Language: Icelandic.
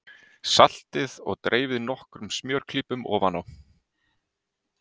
Saltið og dreifið nokkrum smjörklípum ofan á.